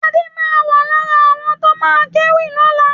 Adé ma wà lára àwọn tó ma kéwì lọ́la